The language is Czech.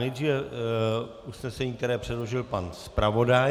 Nejdříve usnesení, které předložil pan zpravodaj.